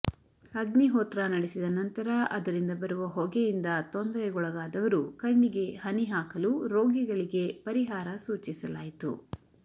ಅಗ್ನಿಹೋತ್ರ ನಡೆಸಿದ ನಂತರ ಅದರಿಂದ ಬರುವ ಹೊಗೆಯಿಂದ ತೊಂದರೆಗೊಳಗಾದವರು ಕಣ್ಣಿಗೆ ಹನಿ ಹಾಕಲು ರೋಗಿಗಳಿಗೆ ಪರಿಹಾರ ಸೂಚಿಸಲಾಯಿತು